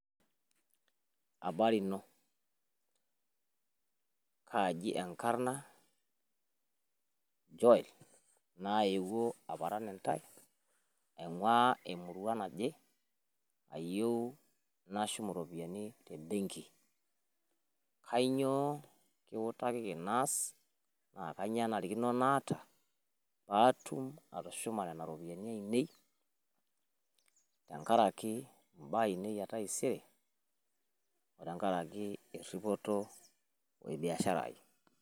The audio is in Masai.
abari ino kaji enkarna joela nayewuo aparan intaea ainguaa emurua naje nayewuo aparan intae ayoeu nashum iroiyiani ebenki, kainyioo kiutakiki naas, naa kanyioo enarikino naata pee ashum iropiyiani aainei tenkaraki biashara ai .